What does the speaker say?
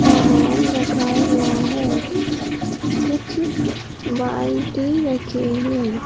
सामान रखा हुआ है कुछ बाल्टी रखे हैं।